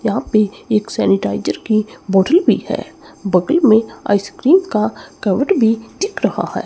यहां पे एक सैनिटाइजर की बोतल भी है बगल में आइसक्रीम का कवर्ड भी दिख रहा है।